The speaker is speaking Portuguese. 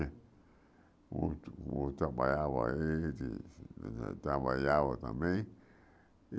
O outro outro trabalhava trabalhava também.